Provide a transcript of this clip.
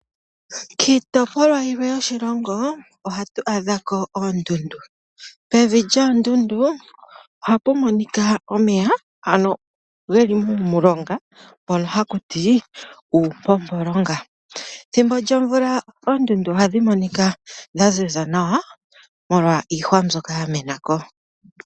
Kiitopolwa yimwe yoshilongo ohatu adhako oondundu, pevi lyoondundu ohapu monika omeya geli muumulonga hakutiwa uumpompolonga, ethimbo lyomvula oondundu ohadhi monika dhaziza nawa molwa iihwa mbyoka ya menako.